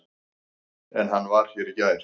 En hann var hér í gær.